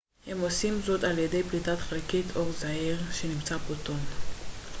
הם עושים זאת על ידי פליטת חלקיק אור זעיר שנקרא פוטון